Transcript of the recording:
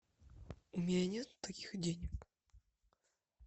у меня нет таких денег